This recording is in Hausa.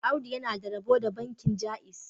Audu yana da rabo da bankin Jaiz